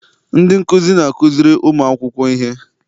Ndị nkuzi na-azukiri ụmụakwụkwọ ihe.